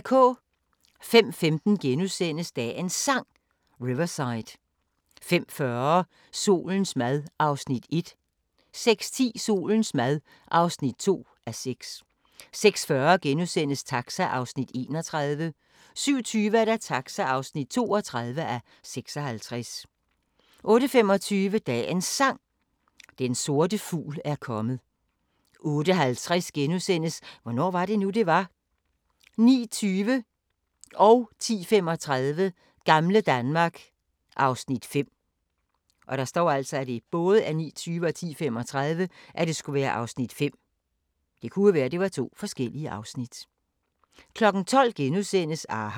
05:15: Dagens Sang: Riverside * 05:40: Solens mad (1:6) 06:10: Solens mad (2:6) 06:40: Taxa (31:56)* 07:20: Taxa (32:56) 08:25: Dagens Sang: Den sorte fugl er kommet 08:50: Hvornår var det nu, det var? * 09:20: Gamle Danmark (Afs. 5) 10:35: Gamle Danmark (Afs. 5) 12:00: aHA! *